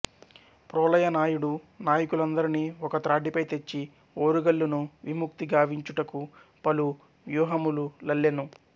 ప్రోలయ నాయుడు నాయకులందరిని ఒక త్రాటిపై తెచ్చి ఓరుగల్లును విముక్తిగావించుటకు పలు వ్యూహములల్లెను